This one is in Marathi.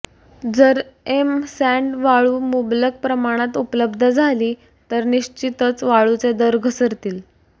जर एम सॅण्ड वाळू मुबलक प्रमाणात उपलब्ध झाली तर निश्चितच वाळूचे दर घसरतील